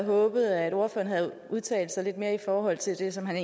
håbet at ordføreren havde udtalt sig lidt mere i forhold til det som han